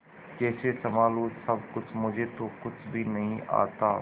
कैसे संभालू सब कुछ मुझे तो कुछ भी नहीं आता